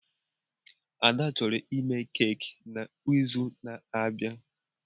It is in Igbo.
Ads chọrọ ime keki n'izu na-abịa.